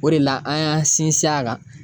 O de la an y'an sinsin a kan.